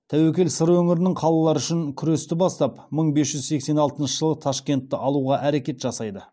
тәуекел сыр өңірінің қалалары үшін күресті бастап мың бес жүз сексен алтыншы жылы ташкентті алуға әрекет жасайды